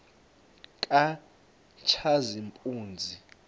katshazimpuzi